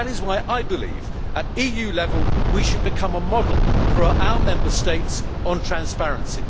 That is why I believe that at EU level we should become a model for our Member States on transparency.